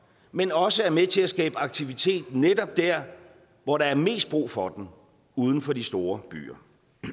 men også er med til at skabe aktivitet netop der hvor der er mest brug for den uden for de store byer